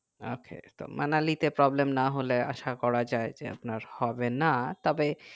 ok তো মানালিতে problem না হলে আসা করা যাই যে আপনার হবে না তবে